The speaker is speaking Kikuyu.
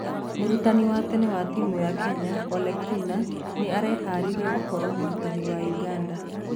Mũrutani wa tene wa timũ ya Kenya Ole kina nĩ areharĩria gũkoro mũrutani wa Ũganda.